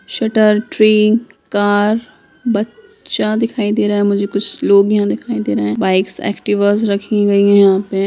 Shutter tree car बच्चा दिखाई दे रहा है मुझे कुछ लोग यहाँ दिखाइ दे रहे है बाइक्स एक्टिवा रखी हुई हैं यहाँ पे।